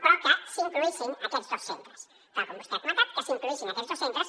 però que s’incloguessin aquests dos centres tal com vostè ha comentat que s’incloguessin aquests dos centres